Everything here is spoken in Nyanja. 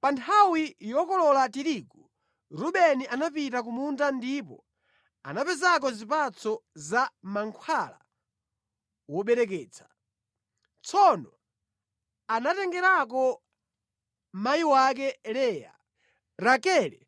Pa nthawi yokolola tirigu, Rubeni anapita ku munda ndipo anapezako zipatso za mankhwala wobereketsa. Tsono anatengerako mayi wake Leya. Rakele